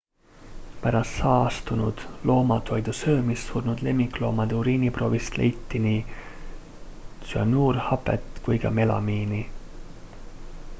pärast saastunud loomatoidu söömist surnud lemmikloomade uriiniproovist leiti nii tsüanuurhapet kui ka melamiini